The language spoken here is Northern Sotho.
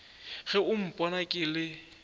ge o mpona ke le